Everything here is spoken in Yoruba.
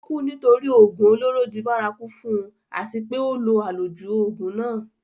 ó kú nítorí ògùn olóró di bárakú fún un àti pé ó lo àlòjù ògùn náà